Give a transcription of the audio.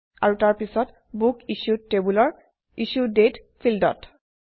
আৰু তাৰপিছত বুকিচ্যুড টেবুলৰ ইছ্যু দাঁতে ফিল্ডত